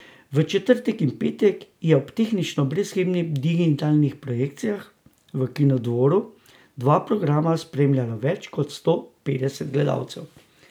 V četrtek in petek je ob tehnično brezhibnih digitalnih projekcijah v Kinodvoru dva programa spremljalo več kot sto petdeset gledalcev.